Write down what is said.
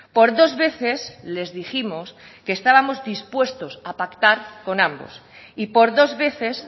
por dos veces les dijimos que estábamos dispuestos a pactar con ambos y por dos veces